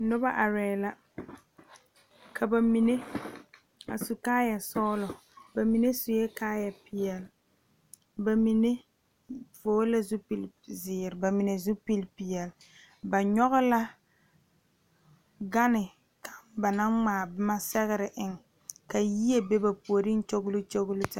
Noba are la ka bamine a su kaaya sɔglɔ bamine suɛ kaaya peɛle bamine vɔgle la zupele ziiri bamine zupele peɛle ba nyoŋ la gane kaŋa ba naŋ ŋmaa boma sɛgre eŋ ka yie be ba puori kyɔlokyɔlo taa.